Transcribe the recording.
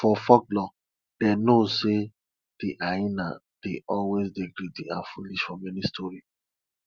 for folklore dey know sey de hyena dey always dey greedy and foolish for many story